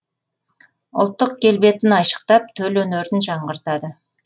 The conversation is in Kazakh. ұлттық келбетін айшықтап төл өнерін жаңғыртады